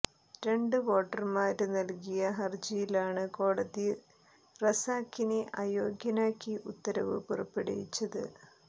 രണ്ട് വോട്ടര്മാര് നല്കിയ ഹരജിയിലാണ് കോടതി റസാഖിനെ അയോഗ്യനാക്കി ഉത്തരവ് പുറപ്പെടുവിച്ചത്